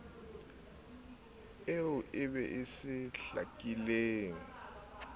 eo e be se hlakileng